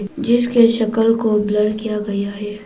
जिसके शक्ल को ब्लर किया गया है।